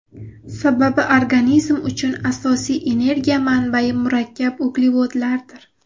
Sababi organizm uchun asosiy energiya manbayi murakkab uglevodlardir.